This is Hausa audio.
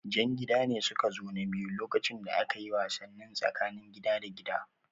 Jan gida ne suka zo na biyu lokacin da akayi wasannin tsakanin gida da gida